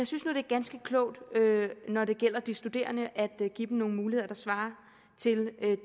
synes nu det er ganske klogt når det gælder de studerende at give dem nogle muligheder der svarer til